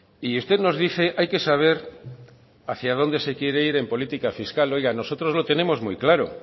y usted nos dice hay que saber hacia dónde se quiere ir en política fiscal oiga nosotros lo tenemos muy claro